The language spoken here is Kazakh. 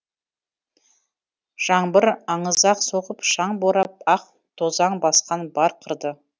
жаңбыр аңызақ соғып шаң борап ақ тозаң басқан бар қырды